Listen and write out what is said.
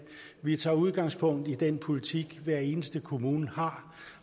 vi tager udgangspunkt i den politik hver eneste kommune har